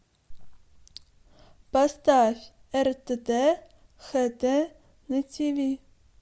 поставь ртт хт на тиви